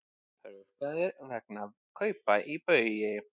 Rukkaðir vegna kaupa í Baugi